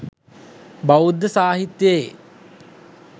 බෞද්ධ සාහිත්‍යයේ